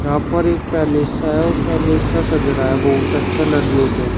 यहां पर एक पैलेस है वो पहले से सज रहा है बहुत अच्छा लड़ी होते हैं।